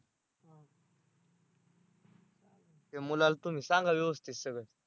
ते मुलाला तुम्ही सांगा व्यवस्थित सगळं